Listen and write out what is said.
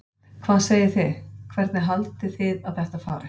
Hvað segið þið, hvernig haldið þið að þetta fari?